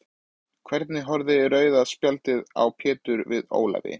Hvernig horfði rauða spjaldið á Pétur við Ólafi?